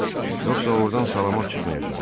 Yoxsa ordan salamat çıxmayacaqdı.